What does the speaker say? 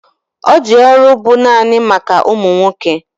Ọ di ọrụ bu naanị maka ụmụ nwoke